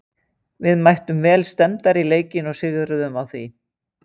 Við mættum vel stemmdar í leikinn og sigruðum á því.